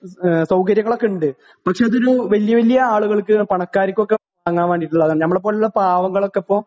ആഹ് സൗകര്യങ്ങളൊക്കെ ഉണ്ട്. പക്ഷേ അതൊരു വലിയ വലിയ ആളുകൾക്ക് ഒക്കെ പണക്കാർക്കൊക്കെ വാങ്ങാൻ വേണ്ടി ഉള്ളതാണ്. നമ്മളെപ്പോലുള്ള പാവങ്ങൾ ഒക്കെ ഇപ്പൊ